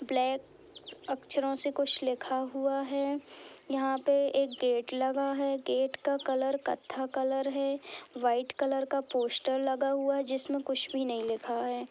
Black अक्षरों से कुछ लिखा हुआ है। यहाँ पे एक गेट लगा है। गेट का कलर कत्था कलर है। व्हाइट कलर का पोस्टर लगा हुआ है जिसमे कुछ भी नही लिखा है।